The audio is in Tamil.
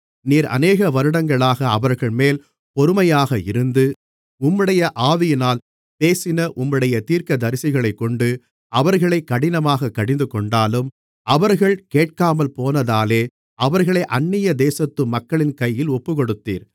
நீர் அநேக வருடங்களாக அவர்கள்மேல் பொறுமையாக இருந்து உம்முடைய ஆவியினால் பேசின உம்முடைய தீர்க்கதரிசிகளைக்கொண்டு அவர்களை கடினமாக கடிந்துகொண்டாலும் அவர்கள் கேட்காமல்போனதாலே அவர்களை அந்நிய தேசத்துமக்களின் கையில் ஒப்புக்கொடுத்தீர்